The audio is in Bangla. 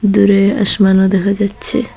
দূরে আসমানও দেখা যাচ্চে ।